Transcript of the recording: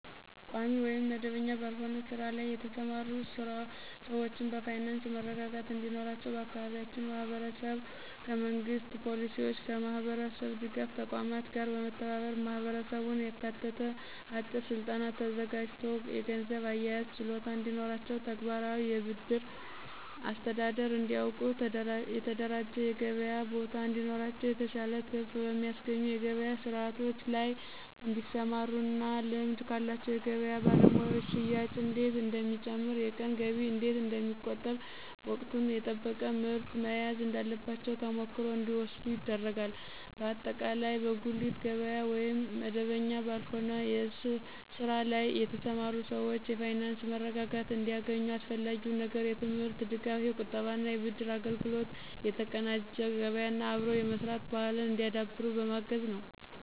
ቋሚ ወይም መደበኛ ባልሆነ ስራ ላይ የተሰማሩ ሰዎችን በፋይናንስ መረጋጋት እንዲኖራቸው በአካባቢያችን ማህበረሰብ ከመንግሥት ፖሊሲዎችና ከማህበረሰብ ድጋፍ ተቋማት ጋር በመተባበር ማህበረሰቡን ያካተተ አጭር ስልጠና ተዘጋጅቶ የገንዘብ አያያዝ ችሎታ እንዲኖራቸው፣ ተግባራዊ የብድር አስተዳደር እንዲያውቁ፣ የተደራጀ የገበያ ቦታ እንዲኖራቸው፣ የተሻለ ትርፍ በሚያስገኙ የገበያ ስርዓቶች ላይ እንዲሰማሩና ልምድ ካላቸው የገበያ ባለሙያዎች ሽያጭ እንዴት እንደሚጨምር፣ የቀን ገቢ እንዴት እንደሚቆጠብ፣ ወቅቱን የጠበቀ ምርት መያዝ እንዳለባቸው ተሞክሮ እንዲወስዱ ይደረጋል። በአጠቃላይ በጉሊት ገበያ ወይም መደበኛ ባልሆነ ስራ ላይ የተሰማሩ ሰዎች የፋይናንስ መረጋጋት እንዲያገኙ አስፈላጊው ነገር የትምህርት ድጋፍ፣ የቁጠባና የብድር አገልግሎት፣ የተቀናጀ ገበያና አብሮ የመስራት ባህልን እንዲያዳብሩ በማገዝ ነዉ።